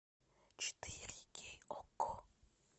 четыре кей окко